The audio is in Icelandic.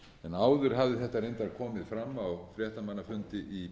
áður hafði þetta reyndar komið fram á fréttamannafundi í